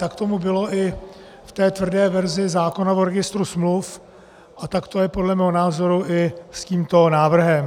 Tak tomu bylo i v té tvrdé verzi zákona o registru smluv a tak to je podle mého názoru i s tímto návrhem.